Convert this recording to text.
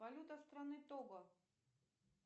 валюта страны тобо